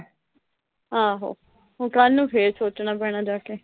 ਆਹੋ, ਹੁਣ ਕੱਲ ਨੂੰ ਫੇਰ ਸੋਚਣਾ ਪੈਣਾ ਜਾ ਕੇ।